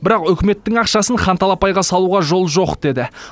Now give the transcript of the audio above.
бірақ үкіметтің ақшасын хан талапайға салуға жол жоқ деді